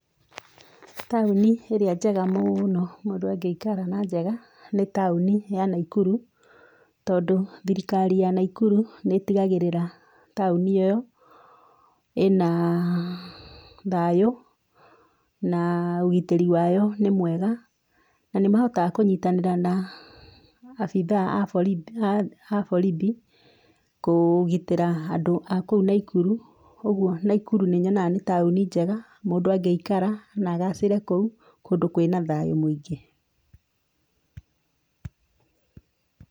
Taũni ĩrĩa njega mũũno mũndũ angĩikara na njega nĩ taũnĩ ya naikuru tondũ thirikari ya naikuru nĩ ĩtiganagĩrĩra taũni ĩyo ĩna thayũ na ũgitĩri wayo nĩ mwega. Na nĩmahotaga kũnyitanĩra na abithaa a borithi kũgitĩra andũ a kũu naikuru. Koguo naikuru nĩ nyonaga nĩ taũni njega mũndũ angĩikara na agacĩre kũu kũndũ kwĩ na thayũ mũingĩ.